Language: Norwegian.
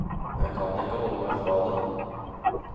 Jeg kan ikke holde meg fra det.